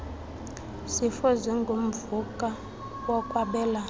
zifo zingumvuka wokwabelana